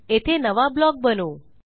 येथे नवा ब्लॉक बनवू